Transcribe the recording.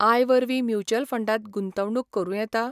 I वरवीं mutual फंडांत गुंतवणूक करूं येता?